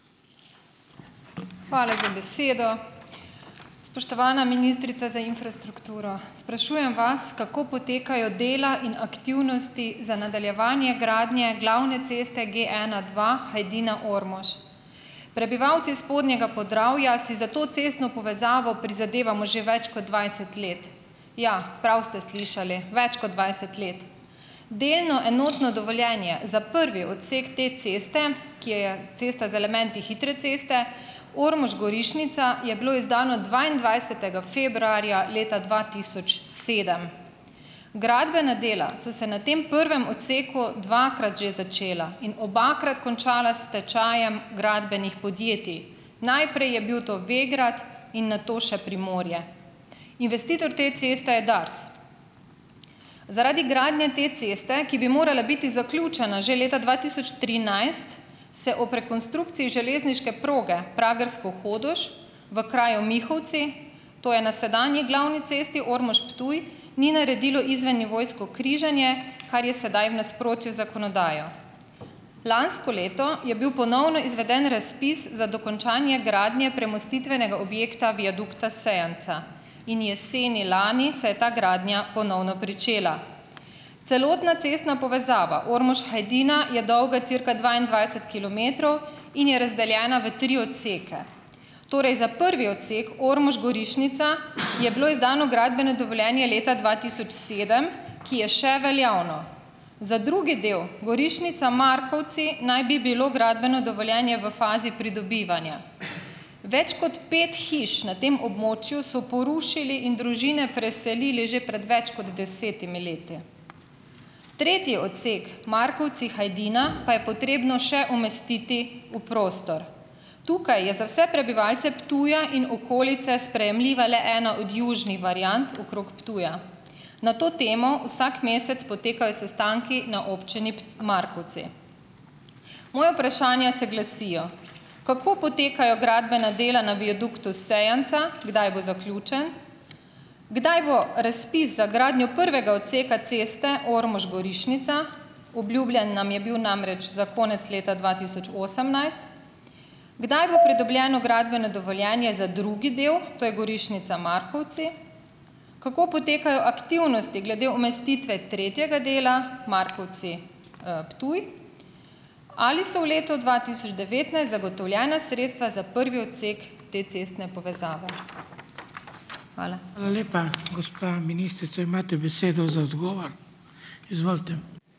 Hvala za besedo. Spoštovana ministrica za infrastrukturo. Sprašujem vas, kako potekajo dela in aktivnosti za nadaljevanje gradnje glavne ceste G ena, dva Hajdina-Ormož. Prebivalci spodnjega Podravja si za to cestno povezavo prizadevamo že več kot dvajset let. Ja, prav ste slišali, več kot dvajset let. Delno enotno dovoljenje za prvi odsek te ceste, ki je je cesta z elementi hitre ceste Ormož-Gorišnica, je bilo izdano dvaindvajsetega februarja leta dva tisoč sedem. Gradbena dela so se na tem prvem odseku dvakrat že začela in obakrat končala s stečajem gradbenih podjetij. Najprej je bil to Vegrad in nato še Primorje. Investitor te ceste je Dars. Zaradi gradnje te ceste, ki bi morala biti zaključena že leta dva tisoč trinajst, se ob rekonstrukciji železniške proge Pragersko-Hodoš v kraju Mihovci, to je na sedanji glavni cesti Ormož-Ptuj, ni naredilo izvennivojsko križanje, kar je sedaj v nasprotju z zakonodajo. Lansko leto je bil ponovno izveden razpis za dokončanje gradnje premostitvenega objekta, viadukta Sejanca. In jeseni lani se je ta gradnja ponovno pričela. Celotna cestna povezava Ormož-Hajdina je dolga cirka dvaindvajset kilometrov in je razdeljena v tri odseke. Torej za prvi odsek Ormož-Gorišnica je bilo izdano gradbeno dovoljenje leta dva tisoč sedem, ki je še veljavno. Za drugi del Gorišnica-Markovci naj bi bilo gradbeno dovoljenje v fazi pridobivanja. Več kot pet hiš na tem območju so porušili in družine preselili že pred več kot desetimi leti. Tretji odsek Markovci-Hajdina pa je potrebno še umestiti v prostor. Tukaj je za vse prebivalce Ptuja in okolice sprejemljiva le ena od južnih variant, okrog Ptuja. Na to temo vsak mesec potekajo sestanki na občini Markovci. Moja vprašanja se glasijo: Kako potekajo gradbena dela na viaduktu Sejanca? Kdaj bo zaključen? Kdaj bo razpis za gradnjo prvega odseka ceste Ormož-Gorišnica? Obljubljen nam je bil namreč za konec leta dva tisoč osemnajst. Kdaj bo pridobljeno gradbeno dovoljenje za drugi del, to je Gorišnica-Markovci? Kako potekajo aktivnosti glede umestitve tretjega dela, Markovci-, Ptuj? Ali so v letu dva tisoč devetnajst zagotovljena sredstva za prvi odsek te cestne povezave? Hvala.